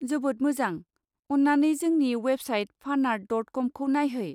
जोबोद मोजां! अन्नानै जोंनि वेबसाइट फानआर्ट.कमखौ नायहै।